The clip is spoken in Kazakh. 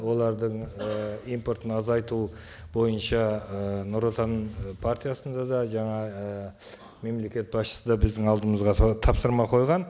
олардың ы импортын азайту бойынша ы нұр отан ы партиясында да жаңа ы мемлекет басшысы да біздің алдымызға сол тапсырма қойған